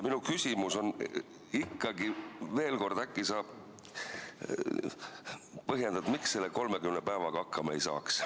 Minu küsimus on ikkagi veel kord, et äkki sa põhjendad, miks selle 30 päevaga hakkama ei saaks.